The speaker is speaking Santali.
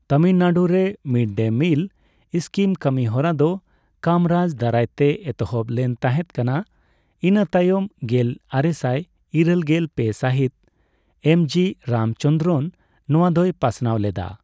ᱛᱟᱢᱤᱞᱱᱟᱲᱩ ᱨᱮ ᱢᱤᱰ ᱰᱮ ᱢᱤᱞ ᱥᱠᱤᱢ ᱠᱟᱹᱢᱤ ᱦᱚᱨᱟ ᱫᱚ ᱠᱟᱢᱨᱟᱡᱽ ᱫᱟᱨᱟᱭᱛᱮ ᱮᱛᱚᱦᱚᱵ ᱞᱮᱱ ᱛᱟᱦᱮᱸᱫ ᱠᱟᱱᱟ, ᱤᱱᱟᱹ ᱛᱟᱭᱱᱚᱢ ᱜᱮᱞ ᱟᱨᱮᱥᱟᱭ ᱤᱨᱟᱹᱞᱜᱮᱞ ᱯᱮ ᱥᱟᱦᱤᱛ ᱮᱢᱡᱤ ᱨᱟᱢ ᱪᱚᱱᱫᱨᱚᱱ ᱱᱚᱣᱟ ᱫᱚᱭ ᱯᱟᱥᱱᱟᱣ ᱞᱮᱫᱟ ᱾